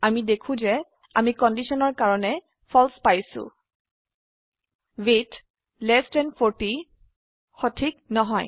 আমি দেখো যে আমি কন্ডিশনৰ কাৰনে ফালছে পাইছো ৱেইট এলটি 40 সঠিক নহয়